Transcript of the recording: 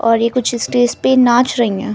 और ये कुछ स्टेज पे नाच रही हैं।